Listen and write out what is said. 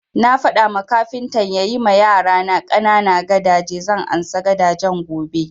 Na faɗa ma kafintan ya yi ma yarana ƙanana gadaje, zan ansa gadajen gobe